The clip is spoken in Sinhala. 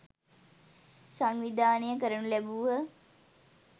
සංවිධානය කරනු ලැබූහ.